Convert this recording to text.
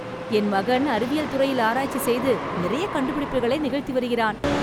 என் மகன் அறிவியல் துறையில் ஆராய்ச்சி செய்து நிறைய கண்டுபிடிப்புகளை நிகழ்த்தி வருகிறான் .